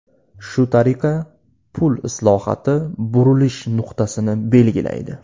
Shu tariqa, pul islohoti burilish nuqtasini belgilaydi.